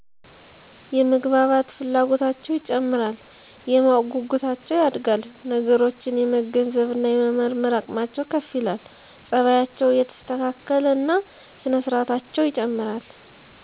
- የመግባባት ፍላጎታቸው ይጨምራል። - የማወቅ ጉጉታቸው ያድጋል። - ነገሮችን የመገንዘብ እና የመመርመር አቅማቸው ከፍ ይላል። - ፀባያቸው እየተስተካከለ እና ስነ ስርአታቸው ይጨምራል።